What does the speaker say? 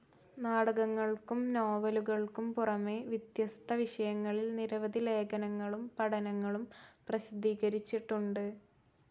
നാടകങ്ങൾക്കും നോവലുകൾക്കും പുറമേ വിത്യസ്ത വിഷയങ്ങളിൽ നിരവധി ലേഖനങ്ങളും പഠനങ്ങളും പ്രസിദ്ധീകരിച്ചിട്ടുണ്ട്.